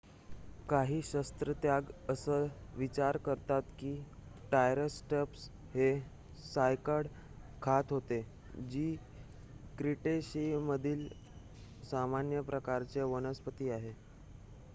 काही शास्त्रज्ञ असा विचार करतात की ट्रायसरॅटॉप्स हे सायकॅड खात होते जी क्रीटेशियमधील सामान्य प्रकारची वनस्पती आहे